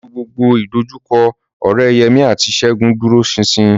Pẹ̀lú gbogbo ìdojúkọ, ọ̀rẹ́ Yemí àti Ṣẹ́gun dúró ṣinṣin